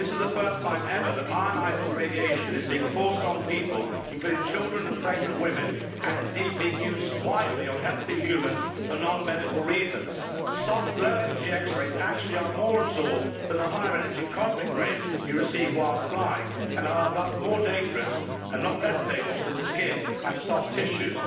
This is the first time ever that ionising radiation is being forced on people, including children and pregnant women, and indeed being used widely on healthy humans for non medical reasons. Soft low energy X rays actually are more absorbed than the higher energy cosmic rays you receive whilst flying and are thus more dangerous and not less dangerous to the skin and soft tissues.